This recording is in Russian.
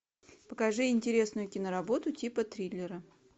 покажи интересную киноработу типа триллера